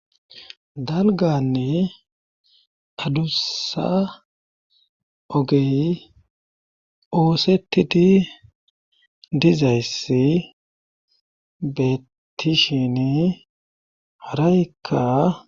Dalganne adussa ogey oosettidi dizayssi beetishini haraykka